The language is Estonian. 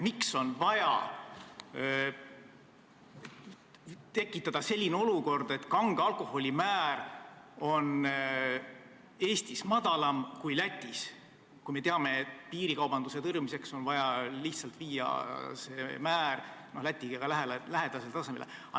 Miks on vaja tekitada selline olukord, et kange alkoholi aktsiisimäär on Eestis madalam kui Lätis, kui me teame, et piirikaubanduse tõrjumiseks on vaja lihtsalt viia see määr Läti omaga lähedasele tasemele?